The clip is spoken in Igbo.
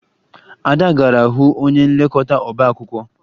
Ada gara hụ onye nlekọta ọbaakwụkwọ